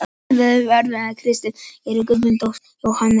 Ónotaðir varamenn: Kristinn Geir Guðmundsson, Jóhann Helgason.